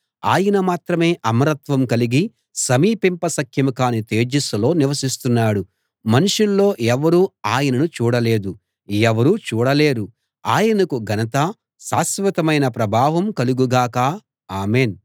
ఆయన మాత్రమే అమరత్వం కలిగి సమీపింప శక్యం గాని తేజస్సులో నివసిస్తున్నాడు మనుషుల్లో ఎవరూ ఆయనను చూడలేదు ఎవరూ చూడలేరు ఆయనకు ఘనత శాశ్వతమైన ప్రభావం కలుగు గాక ఆమేన్‌